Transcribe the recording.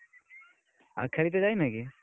ଆଉ ଖେଳିତେ ଯାଇନ କି?